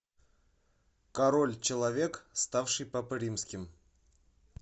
король человек ставший папой римским